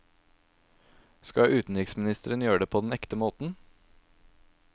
Skal utenriksministeren gjøre det på den ekte måten?